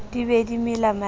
di be di mela manaka